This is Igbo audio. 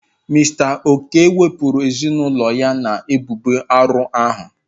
Mister okey wepụrụ ezinaụlọ ya na ebubo arụ ahụ.